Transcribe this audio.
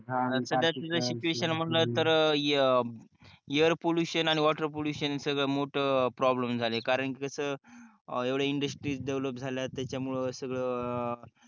साध्याच जर सिटूएशन जर म्हणाल तर एयर पॉल्युशन आणि वॉटर पॉल्युशन सगळ मोठ प्रॉब्लेम झाले करअन की कस एवढे इंग्लिश देवोलोप झाल्यात